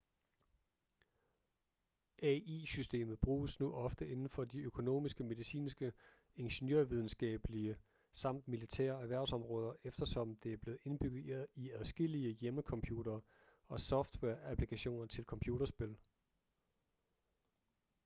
ai-systemet bruges nu ofte inden for de økonomiske medicinske ingeniørvidenskabelige samt militære erhvervsområder eftersom det er blevet indbygget i adskillige hjemmecomputere og software-applikationer til computerspil